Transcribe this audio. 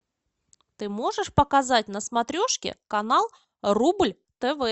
ты можешь показать на смотрешке канал рубль тв